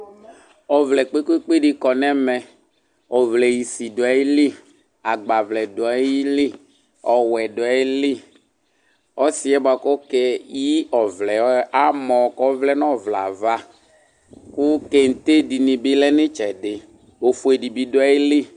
õvlɛ kpékpékpé di kɔ nɛmɛ Õvlɛ isi duayili agbavlɛ duayili õwɛ duayili ɔsiɛbuakɔkéyi ɔvlɛ amõ kɔvlɛnõvlɛava kõ kén'té dini bi lɛ ni tsɛdi ofué dibi duayili